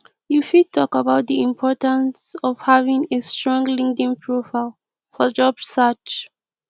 you fit talk about di importance of having a strong linkedln profile for job search